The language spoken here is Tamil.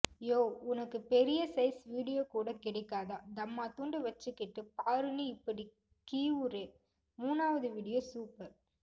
யோவ் உனக்கு பெரிய சைஸ் வீடியோ கூட கிடைக்காதா தம்மாந்துண்டு வச்சிகிட்டு பாருன்னு இப்பிடி கீவுறே மூனாவது வீடியே சூப்பர்